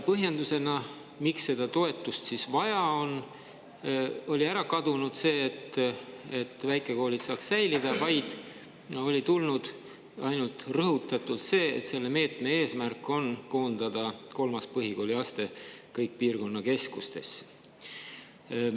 Põhjendusest, miks seda toetust vaja on, oli ära kadunud see, et väikekoolid saaksid säilida, oli tulnud rõhutatult ainult see, et meetme eesmärk on koondada kolmas põhikooliaste piirkonnakeskustesse.